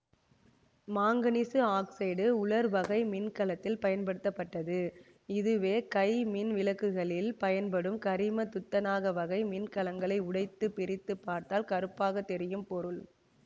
manganese oxide உலர்வகை மின் கலத்தில் பயன்படுத்தப்பட்டது இதுவே கை மின்விளக்குகளில் பயன்படும் கரிமதுத்தநாக வகை மின்கலங்களை உடைத்து பிரித்து பார்த்தால் கறுப்பாக தெரியும் பொருள்